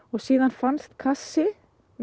síðan fannst kassi